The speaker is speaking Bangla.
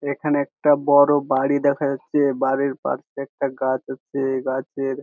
এখানে একটা বড় বাড়ি দেখা যাচ্ছে বাড়ির পার্শ্বে একটা গাছ আছে গাছের--